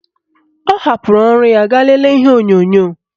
Ọ hapụrụ ọrụ ya gaa lelee ihe onyonyo